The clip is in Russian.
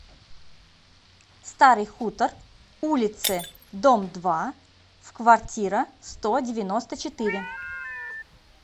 старый хутор улице дом два в квартира сто девяносто четыре